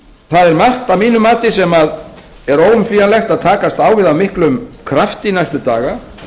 það er margt að mínu mati sem er óumflýjanlegt að takast á við af miklum krafti næstu daga